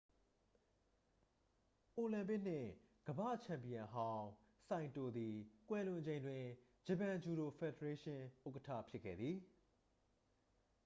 အိုလံပစ်နှင့် ကမ္ဘာ့ချန်ပီယံဟောင်း ဆိုင်တိုသည် ကွယ်လွန်ချိန်တွင် ဂျပန်ဂျူဒို ဖယ်ဒရေးရှင်း ဥက္ကဌဖြစ်ခဲ့သည်